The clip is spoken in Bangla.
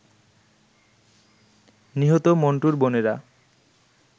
নিহত মন্টুর বোনেরা